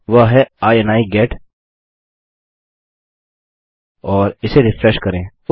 वह है इनी गेट और इसे रिफ्रेश करें